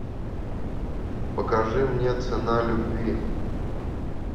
покажи мне цена любви